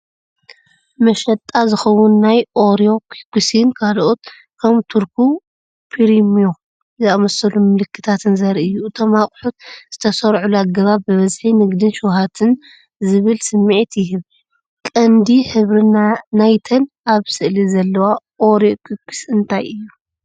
ንመሸጣ ዝኸውን ናይ ኦሪዮ ኩኪስን ካልኦት ከም 'ቶርኩ ፕሪሚዮ' ዝኣመሰሉ ምልክታትን ዘርኢ እዩ። እቶም ኣቑሑት ዝተሰርዑሉ ኣገባብ ብዝሒ፣ ንግድን ሸውሃትን ዝብል ስምዒት ይህብ። ቀንዲ ሕብሪ ናይተን ኣብ ስእሊ ዘለዋ ኦሬዮ ኩኪስ እንታይ እዩ?